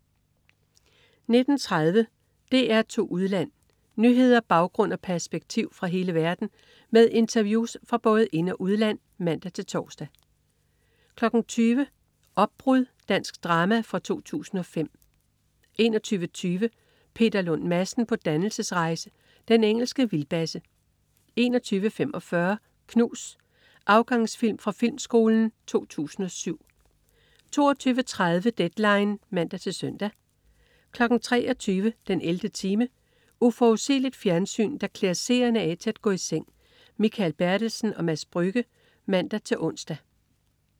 19.30 DR2 Udland. Nyheder, baggrund og perspektiv fra hele verden med interviews fra både ind- og udland (man-tors) 20.00 Opbrud. Dansk drama fra 2005 21.20 Peter Lund Madsen på dannelsesrejse. Den engelske vildbasse 21.45 Knus. Afgangsfilm fra Filmskolen 2007 22.30 Deadline (man-søn) 23.00 den 11. time. Uforudsigeligt fjernsyn, der klæder seerne af til at gå i seng. Mikael Bertelsen/Mads Brügger (man-ons)